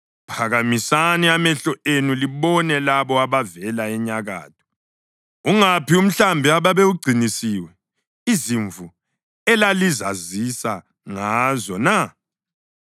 Phakamisani amehlo enu libone labo abavela enyakatho. Ungaphi umhlambi ababewugcinisiwe, izimvu elalizazisa ngazo na?